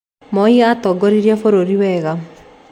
Moi aatongoririe bũrũri wega